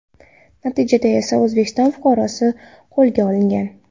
Natijada esa O‘zbekiston fuqarosi qo‘lga olingan.